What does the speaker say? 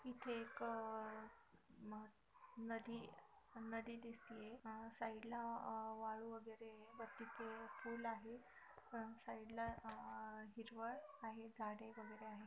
इथे एक अह नदी नदी दिसतिये अह साइड ला अह वाळू वगैरे वरती पुल आहे साइड ला अह हिरवळ आहे झाडे वगैरे आहे.